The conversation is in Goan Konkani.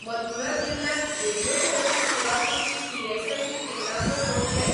मथुरा जिल्ल्यांत रेडियोथेरपी सेवा दिवपी ईएसआयसी केंद्रांचो सोद घे.